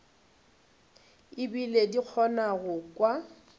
ebile di kgona go kwa